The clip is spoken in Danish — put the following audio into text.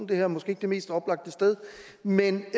det her er måske ikke det mest oplagte sted men